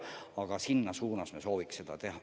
Aga selles suunas me sooviks tegutseda.